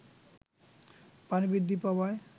পানি বৃদ্ধি পাওয়ায়